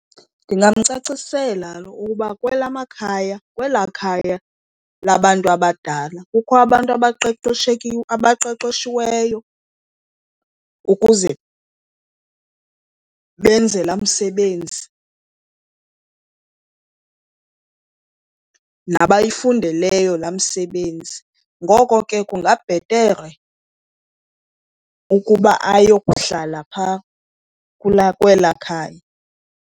Ndingamcacisela ukuba kwelaa khaya labantu abadala kukho abantu abaqeqeshiweyo ukuze benze laa msebenzi nabayifundeleyo laa msebenzi, ngoko ke kungabhetere ukuba aye kuhlala pha kwela khaya.